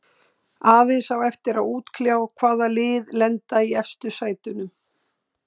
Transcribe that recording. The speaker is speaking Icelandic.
Aðeins á eftir að útkljá hvaða lið lenda í efstu sætunum.